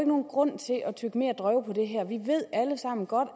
nogen grund til at tygge mere drøv på det her vi ved alle sammen godt